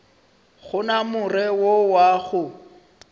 gona more wo wa go